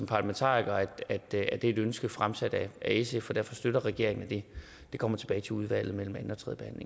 parlamentariker naturligvis at det er et ønske fremsat af sf og derfor støtter regeringen at det kommer tilbage til udvalget mellem anden